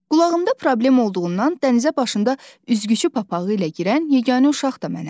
Qulağımda problem olduğundan dənizə başında üzgüçü papağı ilə girən yeganə uşaq mənəm.